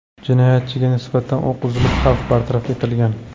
Jinoyatchiga nisbatan o‘q uzilib, xavf bartaraf etilgan.